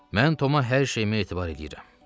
Mən Tom-a hər şeyimi etibar eləyirəm.